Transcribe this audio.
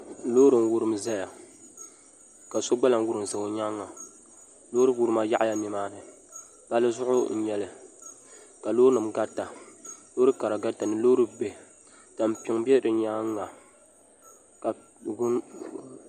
Loori n wurim ʒɛya ka so gba lahi wurim ʒɛ o nyaanga loori wurima yaɣaya nimaani palli zuɣu n nyɛli ka loori nim garita loori kara garita ni loori bihi tampiŋ bɛ di nyaanga ka